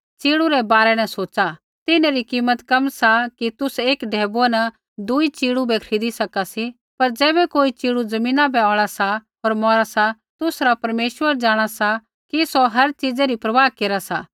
च़िड़ू रै बारै न सोच़ा तिन्हरी कीमत कम सा कि तुसै एक ढैबुऐ न दूई च़िड़ू बै खरीदी सका सी लेकिन ज़ैबै कोई च़िड़ू ज़मीना बै औल़ा सा होर मौरा सा तुसरा परमेश्वर जाँणा सा कि सौ हर चीज़ै री परवाह केरा सा